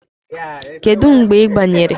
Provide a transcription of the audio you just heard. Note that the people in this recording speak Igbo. Kedu mgbe ị banyere?